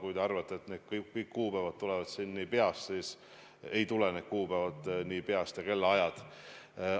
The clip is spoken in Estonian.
Kui te arvate, et mul kõik need kuupäevad on peas, siis tegelikult ei ole mul need kuupäevad ja kellaajad peas.